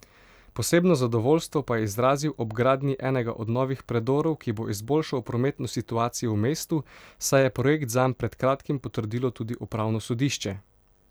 Posebno zadovoljstvo pa je izrazil ob gradnji enega od novih predorov, ki bo izboljšal prometno situacijo v mestu, saj je projekt zanj pred kratim potrdilo tudi upravno sodišče.